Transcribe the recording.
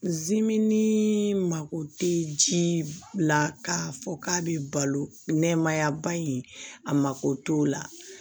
Zimini mako tɛ ji la k'a fɔ k'a bɛ balo nɛmaya ba in a mako t'o la